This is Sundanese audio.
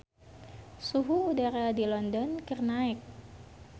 Suhu udara di London keur naek